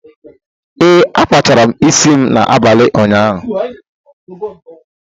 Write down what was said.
Ee, akpachara isi m n'abalị ụnyaahụ.